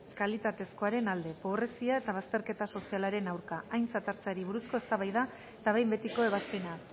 kalitatezkoaren alde pobrezia eta bazterketa sozialaren aurka aintzat hartzeari buruzko eztabaida eta behin betiko ebazpena